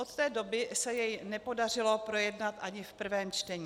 Od té doby se jej nepodařilo projednat ani v prvním čtení.